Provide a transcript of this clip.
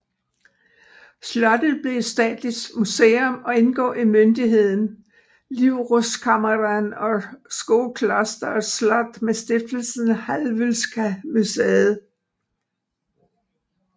Slottet blev et statsligt museum og indgår i myndigheden Livrustkammaren och Skoklosters slott med Stiftelsen Hallwylska museet